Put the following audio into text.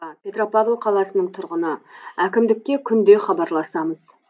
петропавл қаласының тұрғыны әкімдікке күнде хабарласамыз